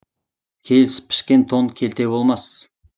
келісіп пішкен тон келте болмас